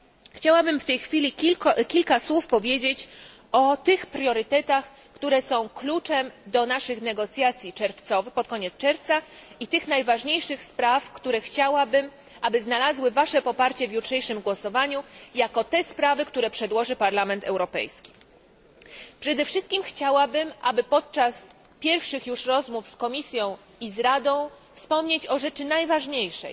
Chciałabym w tej chwili powiedzieć kilka słów o tych priorytetach, które są kluczem do naszych negocjacji pod koniec czerwca i o tych najważniejszych sprawach, które chciałabym, żeby znalazły wasze poparcie w jutrzejszym głosowaniu, jako sprawy, które przedłoży Parlament Europejski. Przede wszystkim chciałabym, aby podczas pierwszych już rozmów z Komisją i z Radą wspomnieć o rzeczy najważniejszej